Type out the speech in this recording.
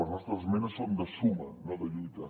les nostres esmenes són de suma no de lluita